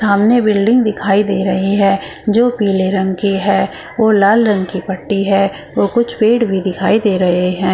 सामने बिल्डिंग दिखाई दे रही है जो पीले रंग की है और लाल रंग की पट्टी है और कुछ पेड़ भी दिखाई दे रहे हैं।